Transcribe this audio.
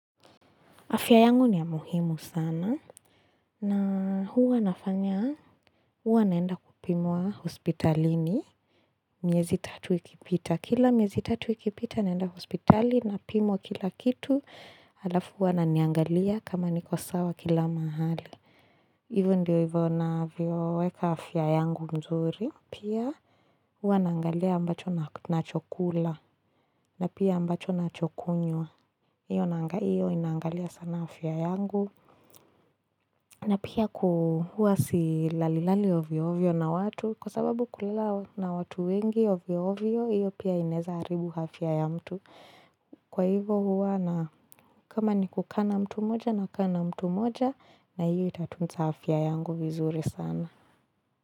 Afya yangu ni ya muhimu sana na huwa nafanya huwa naenda kupimwa hospitalini miezi tatu ikipita. Kila miezi tatu ikipita naenda hospitali napimwa kila kitu halafu wananiangalia kama niko sawa kila mahali. Ivo ndio ivo nnavyo weka afia yangu mzuri. Pia huwa naangalia ambacho nnachokula na pia ambacho nnachokunywa. Iyo inangalia sana afia yangu. Na pia ku huwa silalilali ovyo ovyo na watu kwa sababu kulala na watu wengi ovyo ovyo iyo pia ineza haribu afya ya mtu. Kwa hivo huwa na kama ni kukaa na mtu moja na kaa na mtu moja na iyo itatunza afya yangu vizuri sana.